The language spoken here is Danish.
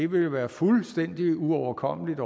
vil være fuldstændig uoverkommeligt